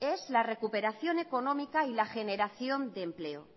es la recuperación económica y la generación de empleo